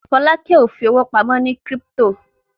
Folake o fí owo pàmò ní crypto.